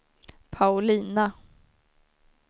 Paulina